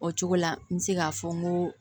O cogo la n bɛ se k'a fɔ n ko